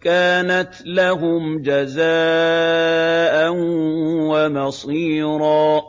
كَانَتْ لَهُمْ جَزَاءً وَمَصِيرًا